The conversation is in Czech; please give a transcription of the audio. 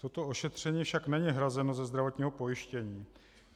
Toto ošetření však není hrazeno ze zdravotního pojištění.